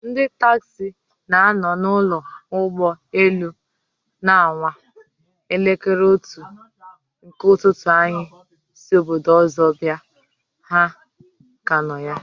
Ndị taxi na nọ na ụlọ ụgbọ elu na anwa! Elekere otu nke ụtụtụ anyị si obodo ọzọ bịa, ha ka nọ ya